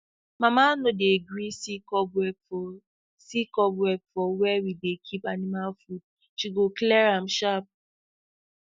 mama no dey gree see cobweb for see cobweb for where we dey keep animal food she go clear am sharp